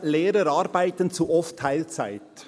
«Lehrer arbeiten zu oft Teilzeit».